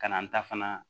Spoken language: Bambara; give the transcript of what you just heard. Ka na n ta fana